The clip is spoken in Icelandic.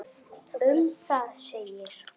Um það segir: